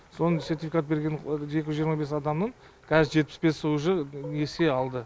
соның сертификат берген екі жүз жиырма бес адамның қазір жетпіс бесі уже несие алды